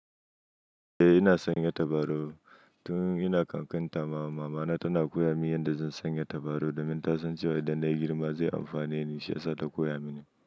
Eh ina sanya tabarau. Tun ina ƙanƙanta mama, mama na tana koya mini yadda zan sanya tabarau domin ta san cewa idan na yi girma zai amfane ni, shi ya sa ta koya mini.